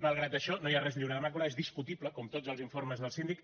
malgrat això no hi ha res lliure de màcula és discutible com tots els informes del síndic